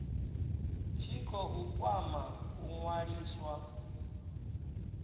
tshi khou kwama u ṅwaliswa